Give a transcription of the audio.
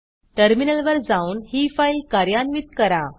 टर्मिनलवर जाऊन ही फाईल कार्यान्वित करा